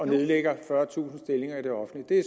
nedlægger fyrretusind stillinger i det offentlige det er